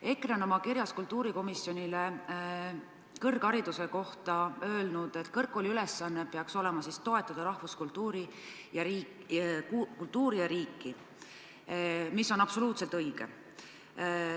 EKRE on oma kirjas kultuurikomisjonile kõrghariduse kohta öelnud, et kõrgkooli ülesanne peaks olema toetada rahvuskultuuri ja riiki, mis on absoluutselt õige.